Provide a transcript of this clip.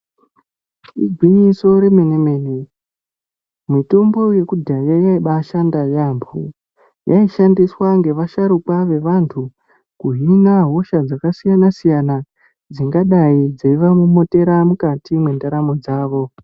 Igwinyiso remene mene mitombo yekudhaya yaibatoshanda yambo yaishandiswa ngevasharuka vevantu kihina hosha dzakasiyana siyana dzingadai dzeivamomotera mukati mwendaramo dzavo.